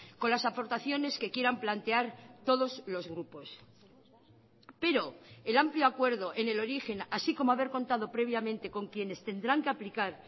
con las aportaciones que quieran plantear todos los grupos pero el amplio acuerdo en el origen así como haber contado previamente con quienes tendrán que aplicar